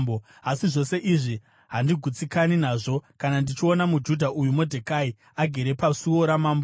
Asi zvose izvi handigutsikani nazvo kana ndichiona muJudha uyu Modhekai agere pasuo ramambo.”